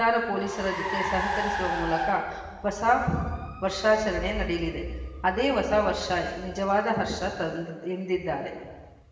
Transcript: ಸಂಚಾರ ಪೊಲೀಸರ ಜತೆ ಸಹಕರಿಸುವ ಮೂಲಕ ಹೊಸ ವರ್ಷಾಚರಣೆ ನಡೆಯಲಿದೇ ಅದೇ ಹೊಸವರ್ಷ ನಿಜವಾದ ಹರ್ಷ ತಂದಿದ್ದಿದ್ದಾರೆ